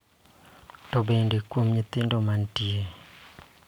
To bende kuom nyithindo manitie.